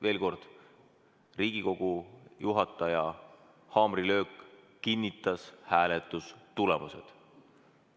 Veel kord: Riigikogu juhataja haamrilöök kinnitas hääletamistulemused.